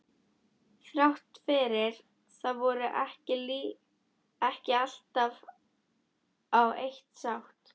Þrátt fyrir það vorum við ekki alltaf á eitt sátt.